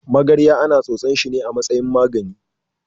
Magarya ana tsotsan shine a matsayin magani.